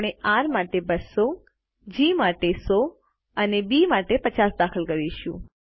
આપણે આર માટે 200 જી માટે 100 અને બી માટે 50 દાખલ કરીશું